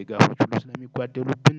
ድጋፎች ሁሉ ስለሚጓደሉብን